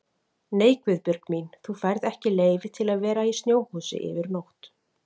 Nei Guðbjörg mín, þú færð ekki leyfi til að vera í snjóhúsi yfir nótt